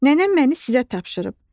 Nənəm məni sizə tapşırıb.